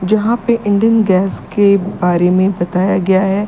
यहां पे इंडेन गैस के बारे में बताया गया है।